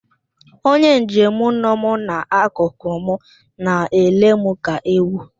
Onye njem nọ m n'akụkụ m na-ele m ka ewu.